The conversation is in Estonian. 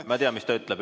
Ma tean, mis ta ütleb.